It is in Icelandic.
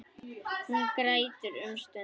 Hún grætur um stund.